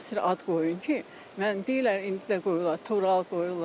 Mənə müasir ad qoyun ki, mən deyirlər, indi də qoyurlar Tural qoyurlar.